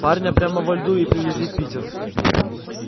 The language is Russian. парня прямо во льду и привезли в питер